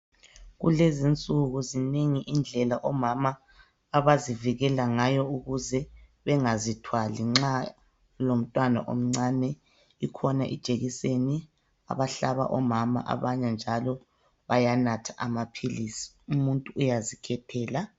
Kulezi insuku zinengi indlela omama abazivikela ngayo ukuze bengazithwali nxa elomntwana omncane, ikhona ijekiseni abahlaba omama abanye njalo bayanatha amaphilisi, umuntu uyazikhethela.